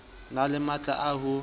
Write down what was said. na le matla a ho